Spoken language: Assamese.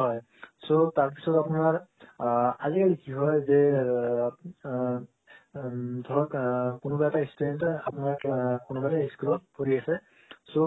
হয় so তাৰ পিছত আপোনাৰ আ আজি কি হয় যে উম ধৰক উম কনোৱা এটা stranger আপোনাক কনো মানে school ত ফুৰি আছে so